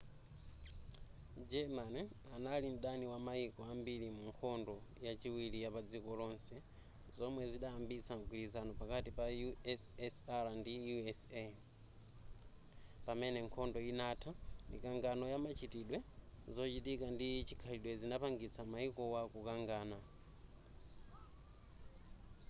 germany anali mdani wamayiko ambiri mu nkhondo yachiwiri yapadziko lonse zomwe zidayambitsa mgwirizano pakati pa ussr ndi usa.pamene nkhondo inantha mikangano ya machitidwe zochitika ndi chikhalidwe zinapangitsa mayikowo kukangana